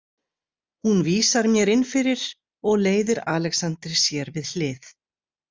Hún vísar mér inn fyrir og leiðir Alexander sér við hlið.